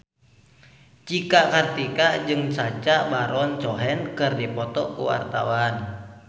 Cika Kartika jeung Sacha Baron Cohen keur dipoto ku wartawan